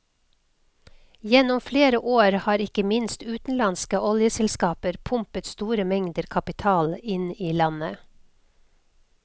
Gjennom flere år har ikke minst utenlandske oljeselskaper pumpet store mengder kapital inn i landet.